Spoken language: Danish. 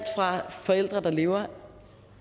fra forældre der lever